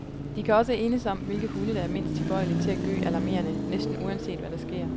De kan også enes om, hvilke hunde der er mindst tilbøjelige til at gø alarmerende, næsten uanset hvad der sker.